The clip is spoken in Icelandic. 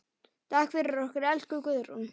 Takk fyrir okkur, elsku Guðrún.